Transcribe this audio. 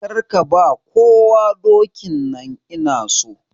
Kar ka ba kowa dokin nan! Ina so.